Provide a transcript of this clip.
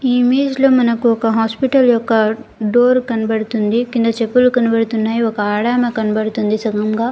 ఈ ఇమేజ్ లో మనకొక హాస్పటల్ ఒక డోర్ కనపడుతుంది కింద చెప్పులు కనపడుతున్నాయి ఒక ఆడమే కనపడుతుంది సగంగ.